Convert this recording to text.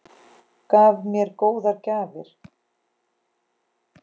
Gaf mér góðar gjafir.